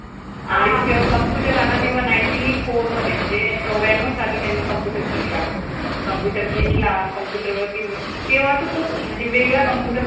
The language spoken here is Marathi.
आणि जेव्हा computer आला तेव्हा ninety four मध्ये म्हणजे चौऱ्याण्णव साली त्यांनी computer शिकला